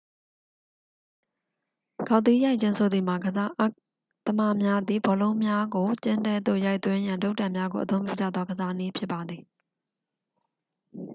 ဂေါက်သီးရိုက်ခြင်းဆိုသည်မှာ ကစားသမားများသည် ဘောလုံးများကို ကျင်းထဲသို့ရိုက်သွင်းရန် တုတ်တံများကိုအသုံးပြုကြသောကစားနည်းဖြစ်ပါသည်